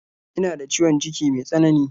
Ina da ciwon ciki me tsanani.